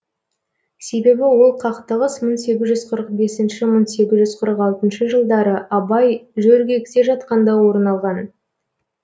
себебі ол қақтығыс мың сегіз жүз қырық бесінші мың сегіз жүз қырық алтыншы жылдары абай жөргекте жатқанда орын алған